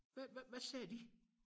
Hvad hvad hvad sagde de?